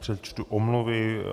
Přečtu omluvy.